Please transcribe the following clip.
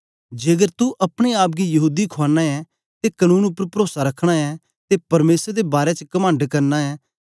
जेकर तू अपने आप गी यहूदी खुआना ऐं ते कनून उपर परोसा रखना ऐं ते परमेसर दे बारै च कमंड करना ऐं